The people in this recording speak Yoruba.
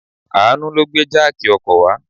Àánú ló gbé jáàkì ọkọ̀ wá.